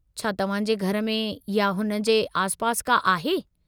छा तव्हां जे घर में या हुन जे आसिपासि का आहे?